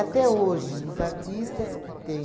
hoje, os artistas que têm